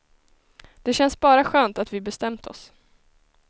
Det känns bara skönt att vi bestämt oss.